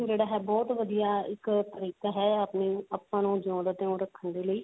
ਜਿਹੜਾ ਹੈ ਬਹੁਤ ਵਧੀਆ ਇੱਕ ਤਰੀਕਾ ਹੈ ਆਪਣੀ ਆਪਾਂ ਨੂੰ ਜਿਓਂ ਦਾ ਤਿਓਂ ਰੱਖਣ ਦੇ ਲਈ